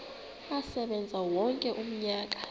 asebenze wonke umnyaka